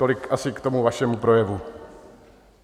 Tolik asi k tomu vašemu projevu.